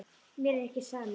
Mér er ekki sama um þig.